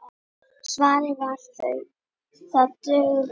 Svarið var: það dugði.